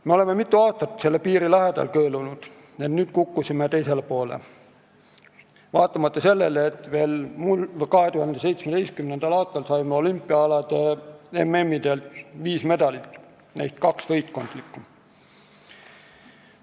Me oleme mitu aastat selle piiri lähedal kõõlunud ja nüüd kukkusime teisele poole, vaatamata sellele, et veel 2017. aastal saime olümpiaalade MM-idelt viis medalit, neist kaks võistkondlikku.